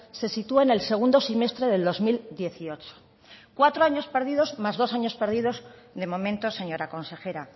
se sitúa en el segundo semestre del dos mil dieciocho cuatro años perdidos más dos años perdidos de momento señora consejera